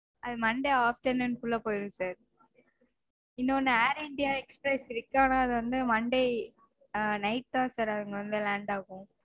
அது monday afternoon -குள்ள போயிரும் sir. இன்னொன்னு air india express இருக்கு. ஆனா அது வந்து monday night -தா sir அது வந்து land ஆகும்